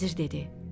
Vəzir dedi: